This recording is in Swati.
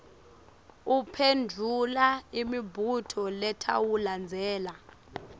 uphendvula imibuto letawulandzela